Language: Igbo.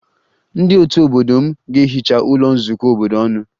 Ndị otu obodo m ga-ehicha ụlọ nzukọ obodo ọnụ